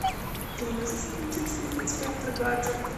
ты можешь включить фильм инспектор гаджет